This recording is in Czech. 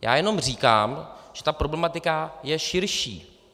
Já jenom říkám, že ta problematika je širší.